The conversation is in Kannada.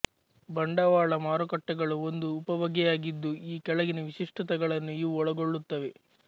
ಬಂಡವಾಳ ಮಾರುಕಟ್ಟೆಗಳು ಒಂದು ಉಪಬಗೆಯಾಗಿದ್ದು ಈ ಕೆಳಗಿನ ವಿಶಿಷ್ಟತೆಗಳನ್ನು ಇವು ಒಳಗೊಳ್ಳುತ್ತವೆ